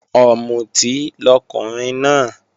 Ọ̀mùtí lọkùnrin náà